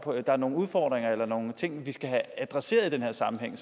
er nogle udfordringer eller nogle ting vi skal have adresseret i den her sammenhæng